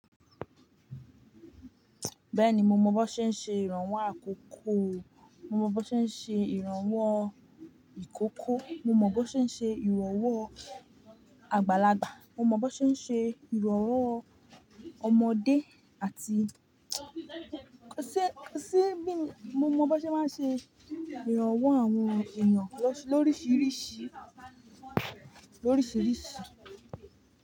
Bẹ́ẹ̀ni, mo mọ bó ṣe ń ṣe ìrànwọ́ àkókò, mo mọ bó ṣe ń ṣe ìrànwọ́ ìkókó, mo mọ bó ṣe ń ṣe ìrànwọ́ àgbàlagbà, mo mọ bó ṣe ń ṣe ìrànwọ́ ọmọdé àti, ṣé ṣé bí mo mọ bó ṣe máa ń ṣe ìrànwọ́ àwọn èèyàn lóríṣiríṣi, lóríṣiríṣi.